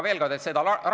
Kolm minutit lisaaega.